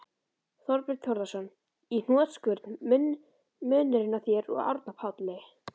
Þorbjörn Þórðarson: Í hnotskurn, munurinn á þér og Árna Páli?